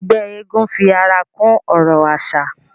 Ẹgbẹ́ eégún fi ara kún ọrọ̀ àṣà